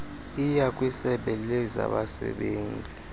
yiya kwisebe lezabasebenzi